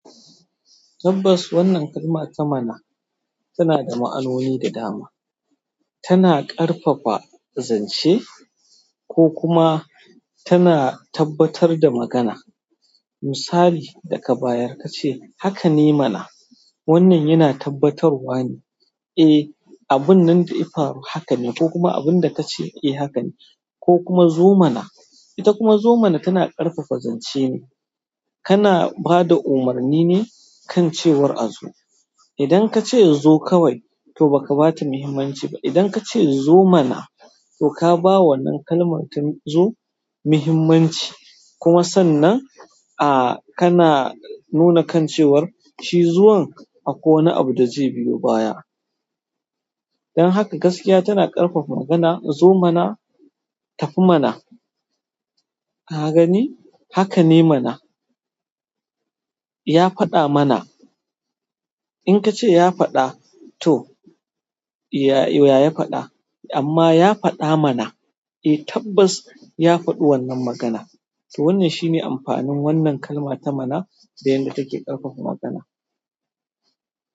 Tabbas wannan kalma ta "mana" tana da ma'anoni da dama. Tana ƙarfafa, zance ko kuma tana tabbatar da magana. Misali, daka bayar ka ce, "Haka ne mana", wannan yana tabbatarwa ne. Eh, abun nan da ya faru haka ne ko kuma abin da ka ce eh haka ne. Ko kuma zo mana, ita kuma zo mana tana ƙarfafa zance ne. Kana ba da umarni ne kan cewar a zo. Idan ka ce zo kawai, to ba ka ba ta muhimmanci ba. Idan ka ce zo mana, to ka ba wannan kalmar ta zo muhimmanci. Kuma sannan, a, kana nuna kan cewar shi zuwan akwai wani abu da zai biyo baya. Don haka gaskiya tana ƙarfafa abun nan. Zo mana, tafi mana. Ka gani? Haka ne mana. Ya faɗa mana. In ka ce ya faɗa, to, ya ya faɗa? Amma ya faɗa mana. Eh tabbas ya faɗi wannan magana. To wannan shine amfanin wannan kalma ta mana da yadda take ƙarfafa magana.